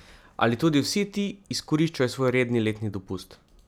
Ali tudi vsi ti izkoriščajo svoj redni letni dopust?